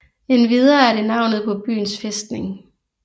Endvidere er det navnet på byens fæstning